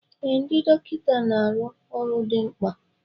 Ee, ndị dọkịta na arụ ọrụ dị mkpa